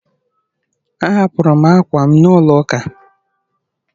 Ahapụrụ m ákwà m n'ụlọ ụka